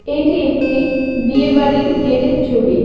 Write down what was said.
এটি একটি বিয়ে বাড়ির গেটের ছবি.